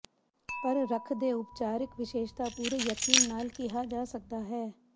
ਪਰ ਰੁੱਖ ਦੇ ਉਪਚਾਰਿਕ ਵਿਸ਼ੇਸ਼ਤਾ ਪੂਰੇ ਯਕੀਨ ਨਾਲ ਕਿਹਾ ਜਾ ਸਕਦਾ ਹੈ